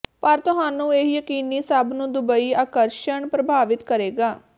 ਪਰ ਤੁਹਾਨੂੰ ਇਹ ਯਕੀਨੀ ਸਭ ਨੂੰ ਦੁਬਈ ਆਕਰਸ਼ਣ ਪ੍ਰਭਾਵਿਤ ਕਰੇਗਾ